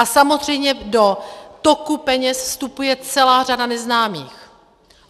A samozřejmě do toku peněz vstupuje celá řada neznámých.